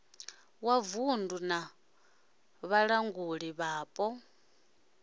wa vunddu na vhalanguli vhapo